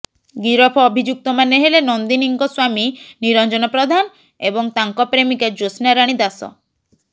ଗିରଫ ଅଭିଯୁକ୍ତମାନେ ହେଲେ ନନ୍ଦିନୀଙ୍କ ସ୍ୱାମୀ ନିରଞ୍ଜନ ପ୍ରଧାନ ଏବଂ ତାଙ୍କ ପ୍ରେମିକା ଜ୍ୟୋତ୍ସାରାଣୀ ଦାସ